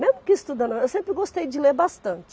Mesmo que estudando ou não, eu sempre gostei de ler bastante.